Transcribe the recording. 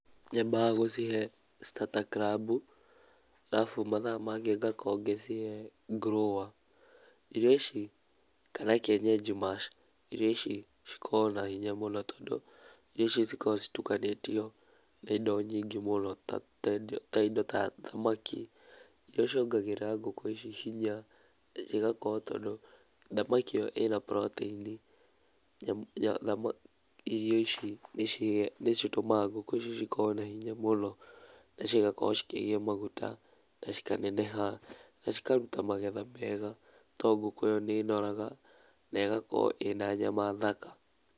Nyambaga gũcihe starter crumb arafu mathaa mangĩ ngakorwo ngĩcihe grower, kana kienyeji mash. Irio ici cikoragwo na hinya mũno tondũ cikoragwo citukanĩtio na indo nyingĩ mũno, indo ta thamaki iria ciongagĩrĩa ngũkũ icio hinya tondũ thamaki ĩyo ĩna protĩini, irio ici nĩcitũmaga ngũkũ ici cikorwo ciĩ na hinya mũno na cigakorwo cikĩgĩa maguta, na cikaneneha nacikaruta magetha mega, tondũ ngũkũ ĩyo nĩĩnoraga na ĩgakorwo na nyama thaka.